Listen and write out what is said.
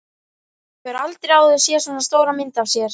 Hefur aldrei áður séð svona stóra mynd af sér.